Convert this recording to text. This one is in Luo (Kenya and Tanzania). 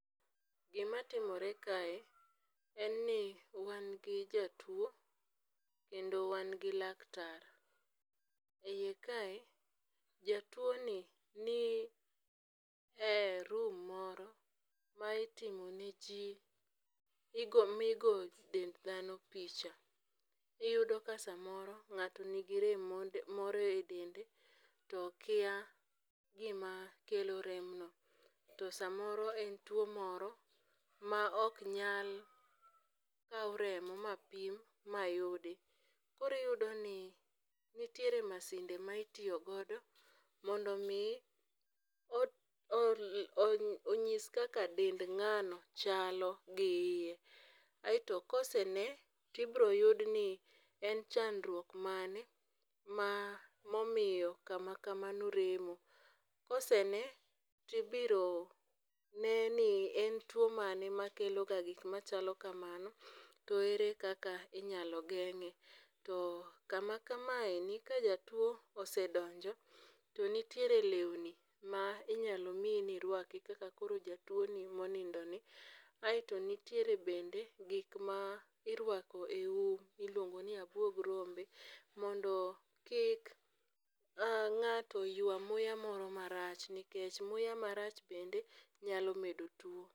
Gimatimore kae en ni wan gi jatuwo kendo wan gi laktar,e iye kae jatuwoni ni e room moro ma itimone chieth, gigo migo dend dhano picha. Iyudo ka samoro ng'ato nigi rem moro e dende, to okia gima kelo remno. To samoro en tuwo moro ma ok nyal kaw remo mapim mayudi, koro iyudo ni nitiere masinde ma itiyo godo mondo omi onyis kaka dend ng'ano chalo gi iye, aeto kosene, tibiro yud ni en chandruok mane ma omiyo kama kamano remo. kosene, tibiro ne ni en tuwo mane makelo ga gik machalo kamano, to ere kaka inyalo geng'e, to kama kamaeni ka jatuwo osedonjo, to nitiere lewni ma inyalo mi nirwaki kaka koro jatuwoni monindoni, aeto nitiere bende gik ma irwako e um ma iluongo ni abwog rombe, mondo kik ng'ato ywa muya moro marach nikech muya marach bende nyal medo tuwo.